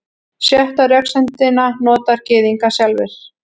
Sjöttu röksemdina nota Gyðingar sjálfir.